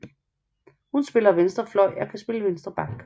Hun spiller venstre fløj og kan spille venstre back